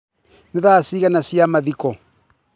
Nĩ thaa cigana cia mathiko?